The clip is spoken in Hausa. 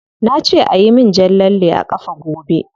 Na ce ayi min jan lalle a kafa gobe.